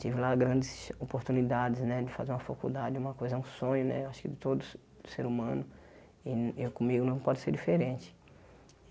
Tive lá grandes oportunidades né de fazer uma faculdade, uma coisa, um sonho né, acho que de todos ser humano e comigo não pode ser diferente.